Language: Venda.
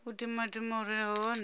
u timatima hu re hone